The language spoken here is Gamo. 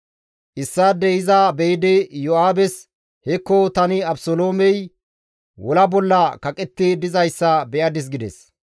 Issaadey iza be7idi Iyo7aabes, «Hekko tani Abeseloomey wola bolla kaqetti dizayssa be7adis» gides.